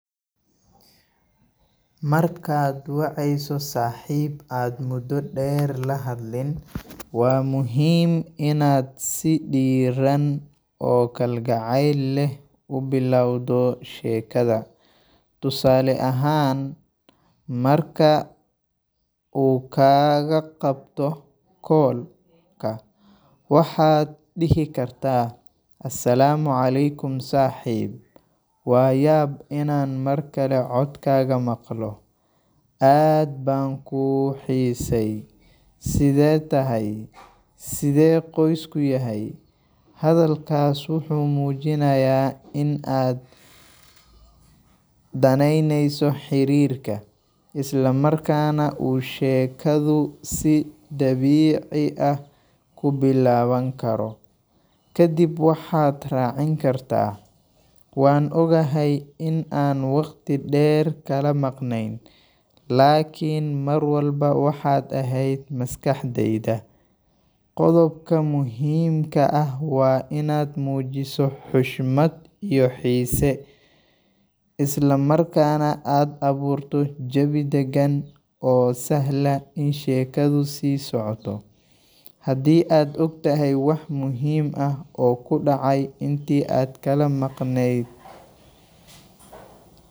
Markaad waceyso saaxiib aad muddo dheer la hadlin, waa muhiim inaad si diirran oo kalgacal leh u bilowdo sheekada. Tusaale ahaan, marka uu kaaga qabto call-ka waxaad dhihi kartaa: “Asalaamu calaykum saaxiib, waa yaab inaan mar kale codkaaga maqlo! Aad baan kuu xiisay. Sidee tahay? Sidee qoysku yahay?” Hadalkaas wuxuu muujinayaa in aad danaynayso xiriirka, isla markaana uu sheekadu si dabiici ah ku bilaaban karo. Kadib waxaad raacin kartaa: “Waan ogahay in aan waqti dheer kala maqneyn, laakin mar walba waxaad ahayd maskaxdeyda.” Qodobka muhiimka ah waa inaad muujiso xushmad iyo xiise, isla markaana aad abuurto jawi dagan oo sahla in sheekadu sii socoto. Haddii aad og tahay wax muhiim ah oo ku dhacay intii aad kala maqneyd.